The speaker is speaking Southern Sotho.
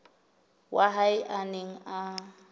wa hae a neng a